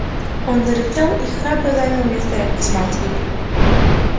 он зарычал и храбро занял место рядом с матерью